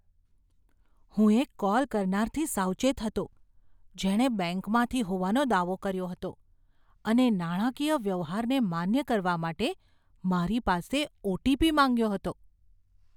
હું એક કોલ કરનારથી સાવચેત હતો, જેણે બેંકમાંથી હોવાનો દાવો કર્યો હતો અને નાણાકીય વ્યવહારને માન્ય કરવા માટે મારી પાસે ઓ.ટી.પી. માંગ્યો હતો.